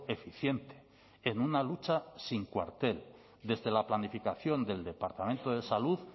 eficiente en una lucha sin cuartel desde la planificación del departamento de salud